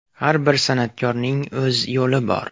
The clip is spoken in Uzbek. Har bir san’atkorning o‘z yo‘li bor.